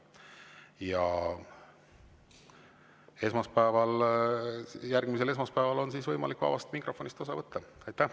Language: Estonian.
Ja järgmisel esmaspäeval on võimalik vabast mikrofonist osa võtta.